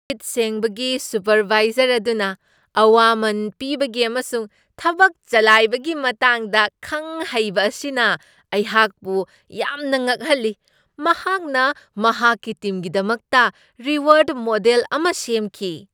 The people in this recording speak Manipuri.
ꯁꯤꯠ ꯁꯦꯡꯕꯒꯤ ꯁꯨꯄꯔꯕꯥꯏꯖꯔ ꯑꯗꯨꯅ ꯑꯋꯥꯃꯟ ꯄꯤꯕꯒꯤ ꯑꯃꯁꯨꯡ ꯊꯕꯛ ꯆꯂꯥꯏꯕꯒꯤ ꯃꯇꯥꯡꯗ ꯈꯪ ꯍꯩꯕ ꯑꯁꯤꯅ ꯑꯩꯍꯥꯛꯄꯨ ꯌꯥꯝꯅ ꯉꯛꯍꯜꯂꯤ꯫ ꯃꯍꯥꯛꯅ ꯃꯍꯥꯛꯀꯤ ꯇꯤꯝꯒꯤꯗꯃꯛꯇ ꯔꯤꯋꯥꯔ꯭ꯗ ꯃꯣꯗꯦꯜ ꯑꯃ ꯁꯦꯝꯈꯤ꯫